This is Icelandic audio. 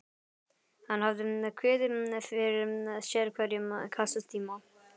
Hann hafði kviðið fyrir sérhverjum kennslutíma.